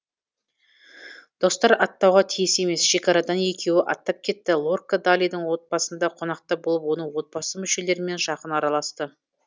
достар аттауға тиіс емес шекарадан екеуі аттап кетті лорка далидың отбасында қонақта болып оның отбасы мүшелерімен жақын араласты